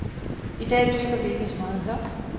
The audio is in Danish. I dag dyrker vi ikke meget hør.